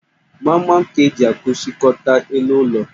Gbamgbam ka e ji akụchikọta elu ụlọ